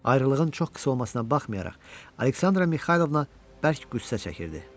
Ayrılığın çox qısa olmasına baxmayaraq, Aleksandra Mixaylovna bərk qüssə çəkirdi.